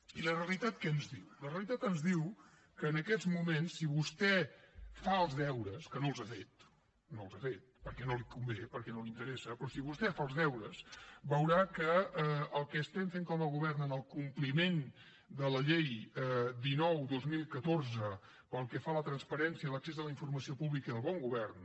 i la realitat què ens diu la realitat ens diu que en aquests moments si vostè fa els deures que no els ha fet no els ha fet perquè no li convé perquè no li interessa però si vostè fa els deures veurà que el que estem fent com a govern en el compliment de la llei dinou dos mil catorze pel que fa a la transparència l’accés a la informació pública i el bon govern